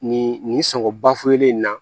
Nin nin sɔngɔn ba fu ye n na